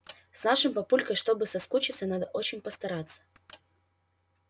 с нашим папулькой чтобы соскучиться надо очень постараться